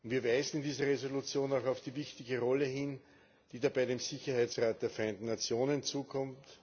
Wir weisen diese Resolution auch auf die wichtige Rolle hin, die dabei dem Sicherheitsrat der Vereinten Nationen zukommt.